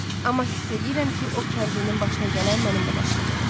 Amma hiss edirəm ki, o kəndlinin başına gələn mənimlə başıma gələcək.